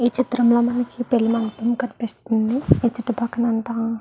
ఈ చిత్రం లో మనకి పెళ్లి మండపం కనిపిస్తుంది ఆ చుట్టుపక్కలంతా --